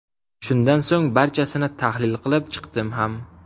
Shundan so‘ng barchasini tahlil qilib chiqdim ham.